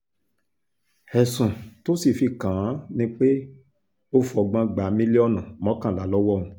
ẹ̀sùn tó sì fi kàn án ni pé ó fọgbọ́n gba mílíọ̀nù mọ́kànlá lọ́wọ́ òun